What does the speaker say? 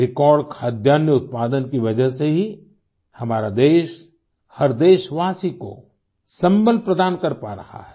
record खाद्यान्नउत्पादन की वजह से ही हमारा देश हर देशवासी को संबल प्रदान कर पा रहा है